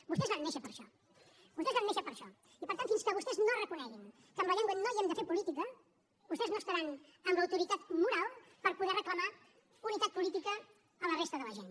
vostès van néixer per a això vostè van néixer per a això i per tant fins que vostès no reconeguin que amb la llengua no hem de fer política vostès no estaran amb l’autoritat moral per poder reclamar unitat política a la resta de la gent